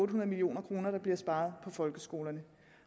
million kr der bliver sparet på folkeskolerne